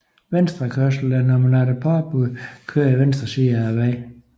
Venstrekørsel er når man efter påbud kører i venstre side af vejen